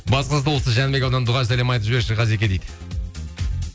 батыс қазақстан облысы жәнібек ауданы дұғай сәлем айтып жіберші ғазеке дейді